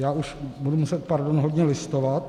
Já už budu muset, pardon, hodně listovat.